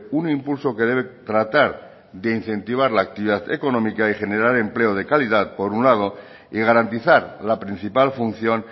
un impulso que debe tratar de incentivar la actividad económica y generar empleo de calidad por un lado y garantizar la principal función